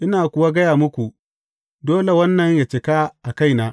Ina kuwa gaya muku, dole wannan ya cika a kaina.